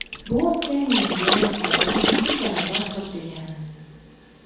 Bu o‘tgan yilgiga nisbatan ikki barobar ko‘p degani.